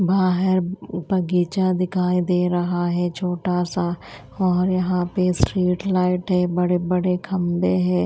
बाहर बगीचा दिखाई दे रहा है छोटा सा और यहां पे स्ट्रीट लाइट है बड़े बड़े खंभे हैं।